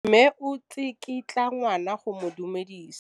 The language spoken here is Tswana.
Mme o tsikitla ngwana go mo itumedisa.